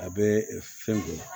A bɛ fɛn kɛ